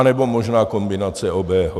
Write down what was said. Anebo možná kombinace obého.